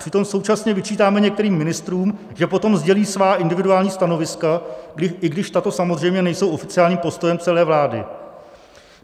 Přitom současně vyčítáme některým ministrům, že potom sdělí svá individuální stanoviska, i když tato samozřejmě nejsou oficiálním postojem celé vlády.